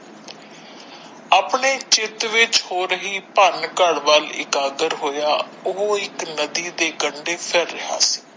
ਆਪਣੇ ਚਿਤ ਵਿੱਚ ਹੋ ਰਹੀ ਭਾਨ ਘਰ ਵੱਲ ਇਕਾਗਰ ਹੋਇਆ ਉਹ ਇੱਕ ਨਦੀ ਦੇ ਕੰਡੇ ਫੈਲੇ ਹਨ।